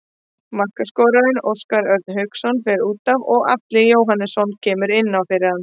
Markaskorarinn Óskar Örn Hauksson fer útaf og Atli Jóhannsson kemur inn fyrir hann.